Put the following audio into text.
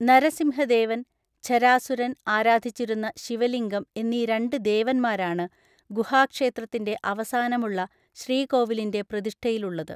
നരസിംഹദേവൻ, ഝരാസുരൻ ആരാധിച്ചിരുന്ന ശിവലിംഗം എന്നീ രണ്ട് ദേവന്മാരാണ് ഗുഹാക്ഷേത്രത്തിന്റെ അവസാനമുള്ള ശ്രീകോവിലിന്റെ പ്രതിഷ്ഠയിലുള്ളത്.